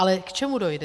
Ale k čemu dojde?